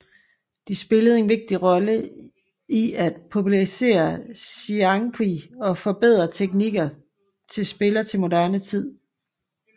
De spillede en vigtig rolle i at popularisere xiangqi og forbedre teknikker til spiller til moderne tid